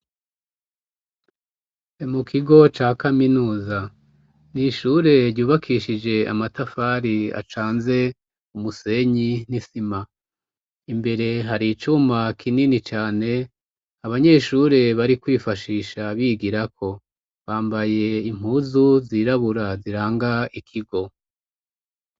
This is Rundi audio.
Mu kigo ca kaminuza nishure ryubakishije amatafari acanze umusenyi n'isima imbere hari icuma kinini cane abanyeshure bari kwifashisha bigirako bambaye impuzu zirabura ziranga ikigo.